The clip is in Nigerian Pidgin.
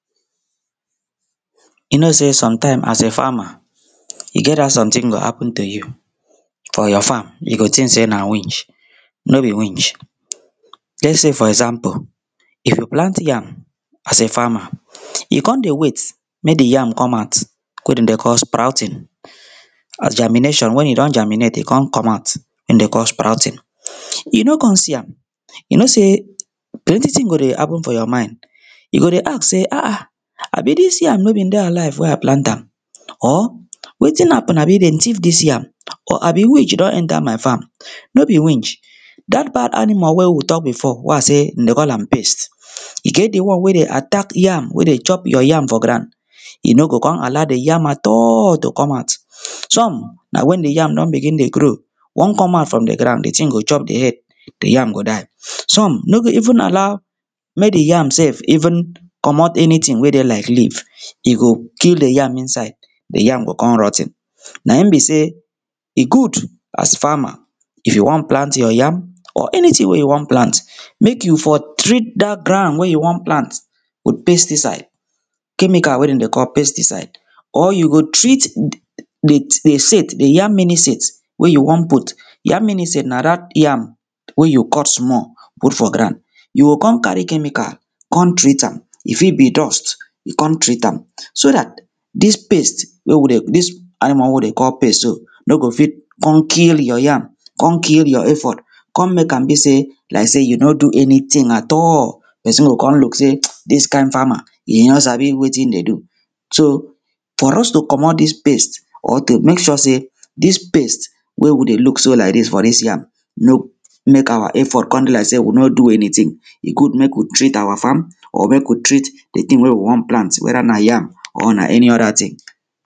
you know sey sometaims as a farmer e get how sometin go hapun to you for yor farm you go tink sey na winch no be winch lets say for example you plant yam as a farmer you con dey wait mek di yam come out wey dem dey call sprouting and germination wen e don germinate e con come out wey dem call sprouting you no con see am you know sey plenti ting go dey hapun for yor mind you go dey ask sey ahan abi dis yam nor bin dey alive wey i plant am or wetin hapun abi dem thief dis yam or abi winch don enta my farm no be winch dat bad animal wey we tok bifo wia i sey we dey call am pest e get di one wey dey attack yam wey dey chop yor yam for grand e no go com allow di yam at all to come out some na wen di yam don begin dey grow wan come out from di grand di ting go chop di head di yam go die some no go even allow mek di yam sef even comot enitin wey dey laik leave e go kill di yam inside di yam go con rot ten naim be sey e good as farmer if you wan plant yor yam or anytin wey you wan plant mek you for treat dat grand wey you wan plant with pesticide chemical wey dem dey call pesticide or you go treat di set di yam mini set wey you wan put yam mini set na dat yam wey you cut small put for grand you go con cari chemical con treat am e fit bi dust con treat am so dat dis pest wey we dey- dis animal wey we dey call pest so no go fit con kill yor yam con kill yor effort con mek am be sey laik sey you no do anytin at all pesin go con look sey dis kain farmer e no sabi wetin e dey do so for us to comot dis pest or to mek sure sey dis pest wey we dey look so laik dis for dis yam no mek awa effort com be laik sey we no do eniting e good mek we treat awa farm or mek we treat di ting wey we wan plant weda na yam or na eni oda ting